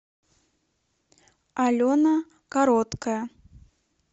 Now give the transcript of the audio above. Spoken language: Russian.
алена короткая